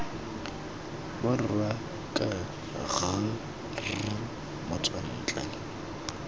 borwa k g r motswantle